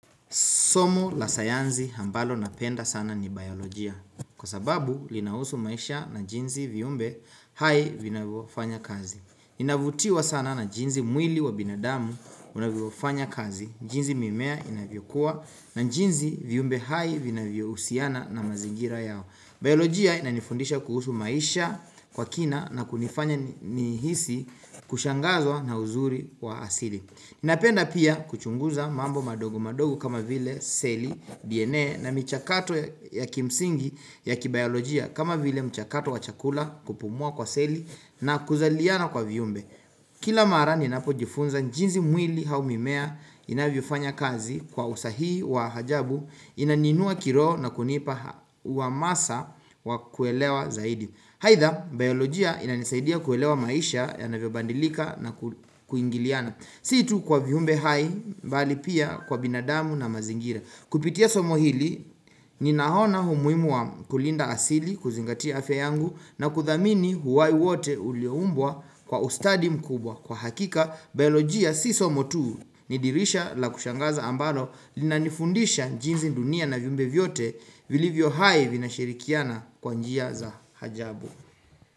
Somo la sayansi ambalo napenda sana ni biolojia. Kwa sababu, linahusu maisha na jinsi viumbe hai vinavyofanya kazi. Ninavutiwa sana na jinsi mwili wa binadamu unavyofanya kazi. Jinsi mimea inavyokua na jinsi viumbe hai vinavyohusiana na mazingira yao. Biolojia inanifundisha kuhusu maisha kwa kina na kunifanya nihisi kushangazwa na uzuri wa asili. Napenda pia kuchunguza mambo madogo madogo kama vile seli, DNA na michakato ya kimsingi ya kibiolojia kama vile mchakato wa chakula kupumua kwa seli na kuzaliana kwa viumbe. Kila mara ninapojifunza jinsi mwili au mimea inavyofanya kazi kwa usahii wa ajabu inaniinua kiroho na kunipa huamasa wa kuelewa zaidi. Aidha, biolojia inanisaidia kuelewa maisha yanavyobadilika na kuingiliana. Si tu kwa viumbe hai bali pia kwa binadamu na mazingira Kupitia somo hili ninaona umuhimu wa kulinda asili kuzingatia afya yangu na kuthamini uhai wote ulioumbwa kwa ustadi mkubwa Kwa hakika, biolojia si somo tu ni dirisha la kushangaza ambalo linanifundisha jinsi dunia na viumbe vyote vilivyo hai vinashirikiana kwa njia za ajabu.